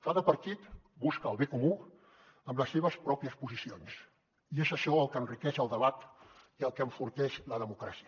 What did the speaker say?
cada partit busca el bé comú amb les seves pròpies posicions i és això el que enriqueix el debat i el que enforteix la democràcia